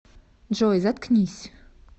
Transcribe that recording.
джой заткнись